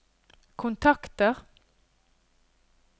kontakter